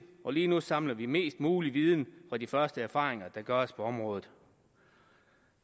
og lige nu samler vi mest mulig viden fra de første erfaringer der gøres på området